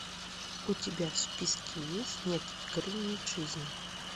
у тебя в списке есть нет игры нет жизни